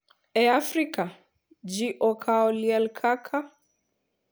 E Afrika, ji okawo liel kaka,